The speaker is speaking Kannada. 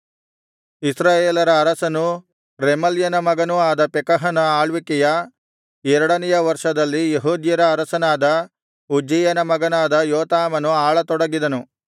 ಇಸ್ರಾಯೇಲರ ಅರಸನೂ ರೆಮಲ್ಯನ ಮಗನೂ ಆದ ಪೆಕಹನ ಆಳ್ವಿಕೆಯ ಎರಡನೆಯ ವರ್ಷದಲ್ಲಿ ಯೆಹೂದ್ಯರ ಅರಸನಾದ ಉಜ್ಜೀಯನ ಮಗನಾದ ಯೋತಾಮನು ಆಳತೊಡಗಿದನು